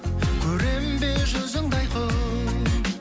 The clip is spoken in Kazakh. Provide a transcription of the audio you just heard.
көрем бе жүзіңді айқын